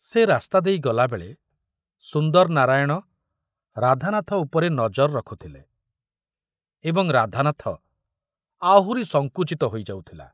ସେ ରାସ୍ତା ଦେଇ ଗଲାବେଳେ ସୁନ୍ଦର ନାରାୟଣ ରାଧାନାଥ ଉପରେ ନଜର ରଖୁଥିଲେ ଏବଂ ରାଧାନାଥ ଆହୁରି ସଂକୁଚିତ ହୋଇ ଯାଉଥିଲା।